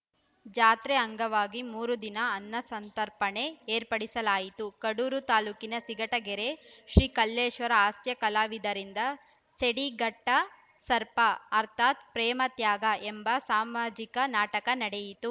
ಜಾತ್ರೆ ಅಂಗವಾಗಿ ಮೂರು ದಿನ ಅನ್ನಸಂತರ್ಪಣೆ ಏರ್ಪಡಿಸಲಾಯಿತ್ತು ಕಡೂರು ತಾಲೂಕಿನ ಸಿಘಟಗೆರೆ ಶ್ರೀ ಕಲ್ಲೇಶ್ವರ ಹಾಸ್ಯ ಕಲಾವಿದರಿಂದ ಸೇಡಿಟ್ಟಘಟಸರ್ಪ ಅರ್ಥಾತ್‌ ಪ್ರೇಮತ್ಯಾಗ ಎಂಬ ಸಾಮಾಜಿಕ ನಾಟಕ ನಡೆಯಿತು